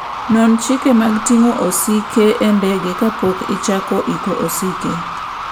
Non chike mag ting'o osike e ndege kapok ichako iko osike.